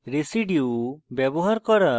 residues ব্যবহার করা এবং